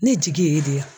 Ne jigi ye de yan